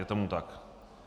Je tomu tak?